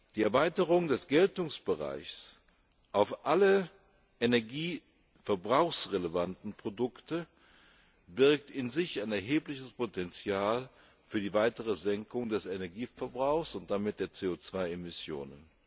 Die Erweiterung des Geltungsbereichs auf alle energieverbrauchsrelevanten Produkte birgt in sich ein erhebliches Potenzial für die weitere Senkung des Energieverbrauchs und damit der CO 2 Emissionen.